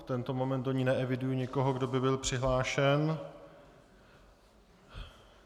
V tento moment do ní neeviduji nikoho, kdo by byl přihlášen.